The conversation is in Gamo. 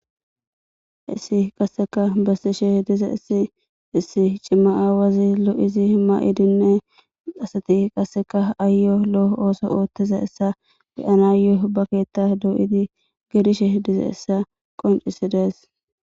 Hayssi qassika besishe issi issi awazi cimazi mayo mayidinne qassika ayo lo'o oso oththiza issa be'anayo na keththa doyidi gelishe diza issa qoncisida issa